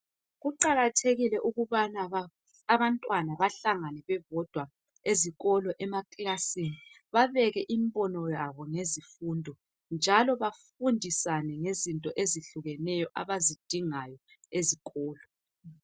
Kuqakathekile ukubana abantwana bahlangane bebodwa ezikolo emakilasini babeke imbono yabo ngezifundo njalo bafundisane ngezinto ezehlukeneyo abazidingayo ezikolo.